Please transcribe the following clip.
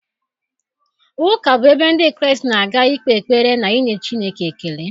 Ụka bụ ebe Ndị Kraịst na-aga ikpe ekpere na inye Chineke ekele